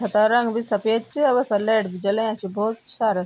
छता रंग बि सफेद च वेफर लैट बि जलाया छि भौत सारा।